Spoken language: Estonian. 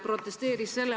Vilja Toomast, palun!